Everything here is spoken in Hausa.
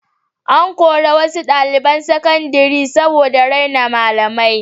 An kori wasu ɗaliban sakandare daga makaranta saboda raina malami.